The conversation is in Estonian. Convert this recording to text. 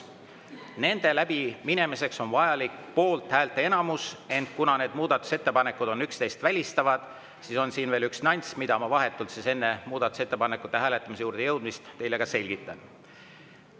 Nende läbiminemiseks on vajalik poolthäälte enamus, ent kuna need muudatusettepanekud on teineteist välistavad, siis on siin veel üks nüanss, mida ma vahetult enne muudatusettepanekute hääletamise juurde jõudmist teile ka selgitan.